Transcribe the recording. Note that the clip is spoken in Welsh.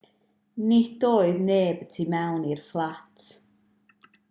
nid oedd neb y tu mewn i'r fflat